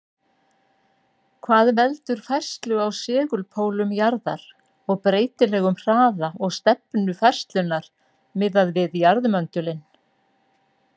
Hvað veldur færslu á segulpólum jarðar og breytilegum hraða og stefnu færslunnar miðað við jarðmöndulinn?